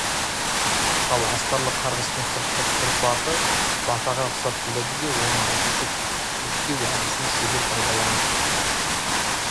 ал астарлы қарғыстың сыртқы тұрпаты батаға ұқсап келеді де оны айтушы кекету әдісін шебер пайдаланып